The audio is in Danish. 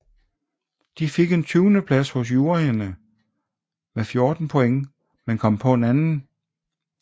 De fik en 20 plads hos juryerne med 14 point men kom på en 2